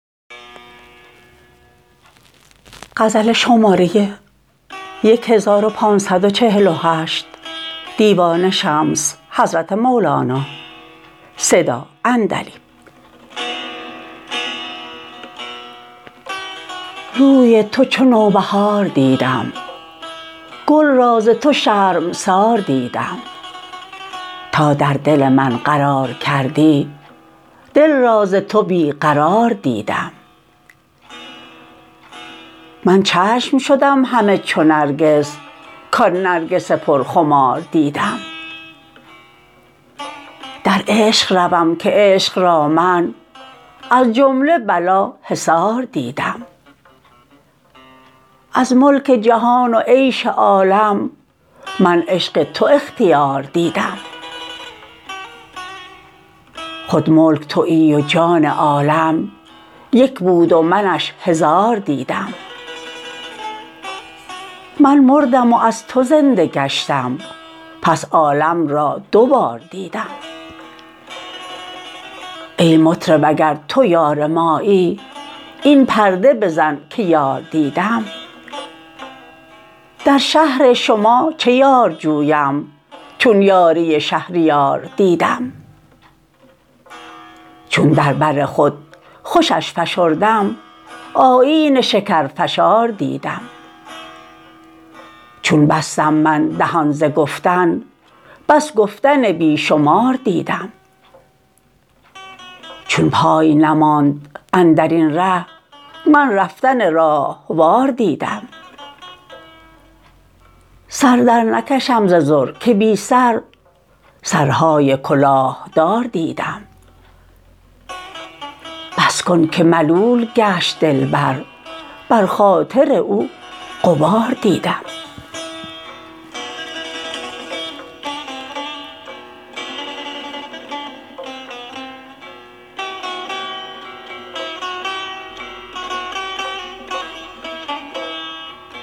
روی تو چو نوبهار دیدم گل را ز تو شرمسار دیدم تا در دل من قرار کردی دل را ز تو بی قرار دیدم من چشم شدم همه چو نرگس کان نرگس پرخمار دیدم در عشق روم که عشق را من از جمله بلا حصار دیدم از ملک جهان و عیش عالم من عشق تو اختیار دیدم خود ملک توی و جان عالم یک بود و منش هزار دیدم من مردم و از تو زنده گشتم پس عالم را دو بار دیدم ای مطرب اگر تو یار مایی این پرده بزن که یار دیدم در شهر شما چه یار جویم چون یاری شهریار دیدم چون در بر خود خوشش فشردم آیین شکرفشار دیدم چون بستم من دهان ز گفتن بس گفتن بی شمار دیدم چون پای نماند اندر این ره من رفتن راهوار دیدم سر درنکشم ز ضر که بی سر سرهای کلاه دار دیدم بس کن که ملول گشت دلبر بر خاطر او غبار دیدم